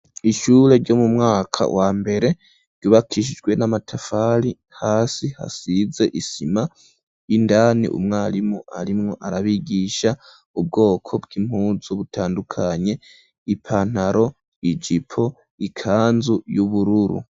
Ishure ryo mu mwaka wambere ryubakishijwe n'amatafari hasi hasize isima indani umwarimu arimwo arabigisha ubwoko bw'impunzu butandukanye ipantaro, ijipo, ikanzu y'ubururu.